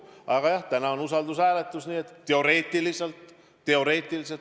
Aga jah, täna on usaldushääletus, nii et teoreetiliselt – teoreetiliselt!